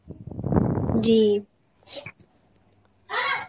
জি